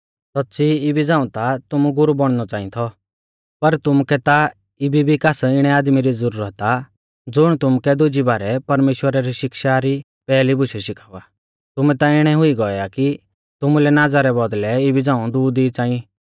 सौच़्च़ी इबी झ़ाऊं ता तुमु गुरु बौणनौ च़ांई थौ पर तुमुकै ता इबी भी कास इणै आदमी री ज़ुरत आ ज़ुण तुमुकै दुजी बारै परमेश्‍वरा री शिक्षा री पैहली बुशै शिखावा तुमै ता इणै हुई गौऐ आ कि तुमुलै नाज़ा रै बौदल़ै इबी झ़ांऊ दूध ई च़ांई